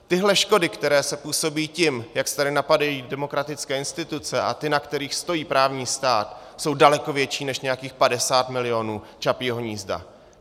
Tyhle škody, které se působí tím, jak se tady napadají demokratické instituce a ty, na kterých stojí právní stát, jsou daleko větší než nějakých 50 milionů Čapího hnízda.